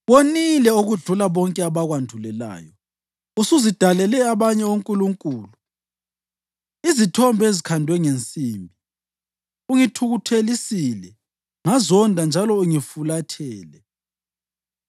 Wonile okudlula bonke abakwandulelayo. Usuzidalele abanye onkulunkulu, izithombe ezikhandwe ngensimbi, ungithukuthelisile ngazonda njalo ungifulathele.